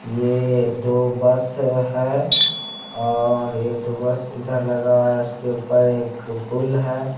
ये दो बस है और ये दो बस इधर लगा है इसके ऊपर एक पुल है ।